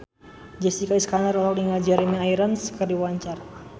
Jessica Iskandar olohok ningali Jeremy Irons keur diwawancara